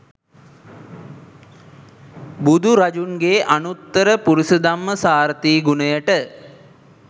බුදුරජුන්ගේ අනුත්තර පුරිසදම්ම සාරථී ගුණයට